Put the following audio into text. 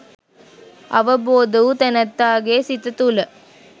අවබෝධ වූ තැනැත්තාගේ සිත තුළ